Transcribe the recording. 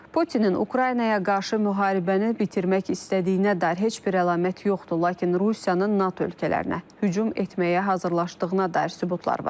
Putinin Ukraynaya qarşı müharibəni bitirmək istədiyinə dair heç bir əlamət yoxdur, lakin Rusiyanın NATO ölkələrinə hücum etməyə hazırlaşdığına dair sübutlar var.